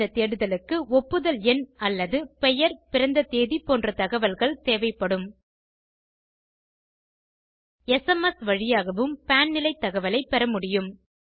இந்த தேடுதலுக்கு ஒப்புதல் எண் அல்லது பெயர் பிறந்த தேதி போன்ற தகவல்கள் தேவைப்படும் எஸ்எம்எஸ் வழியாகவும் பான் நிலை தகவலைப் பெறமுடியும்